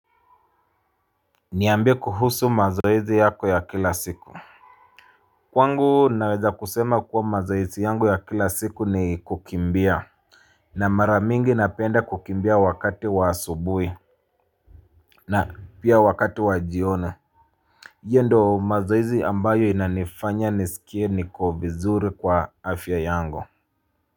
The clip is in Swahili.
Niambie kuhusu mazoezi yako ya kila siku. Kwangu naweza kusema kuwa mazoezi yangu ya kila siku ni kukimbia. Na mara mingi napenda kukimbia wakati wa asubuhi. Na pia wakati wa jioni. Hio ndio mazoezi ambayo inanifanya nisikie niko vizuri kwa afya yangu.